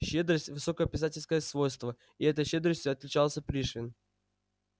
щедрость высокое писательское свойство и этой щедростью отличался пришвин